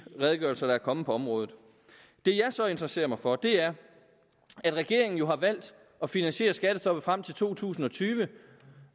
redegørelser der er kommet på området det jeg så interesserer mig for er at regeringen jo har valgt at finansiere skattestoppet frem til to tusind og tyve